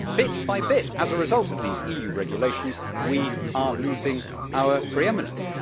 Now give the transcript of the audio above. But bit by bit, as a result of these EU regulations, we are losing our pre eminence.